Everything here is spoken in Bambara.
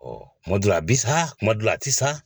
kuma dɔ la a bi sa kuma dɔ a tɛ sa.